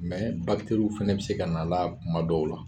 Mɛ bakiteriw fana bɛ se ka na a la kuma dɔw la.